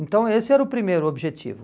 Então esse era o primeiro objetivo.